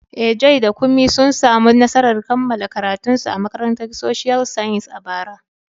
Eh, Joy da Kunmi sun samu nasarar kammala karatunsu a Makarantar Social Sciences a bara.